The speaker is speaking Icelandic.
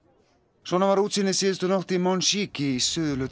svona var útsýnið síðustu nótt í Monchique í suðurhluta